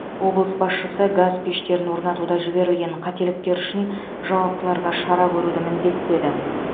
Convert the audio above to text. облыс басшысы газ пештерін орнатуда жіберілген қателіктер үшін жауаптыларға шара көруді міндеттеді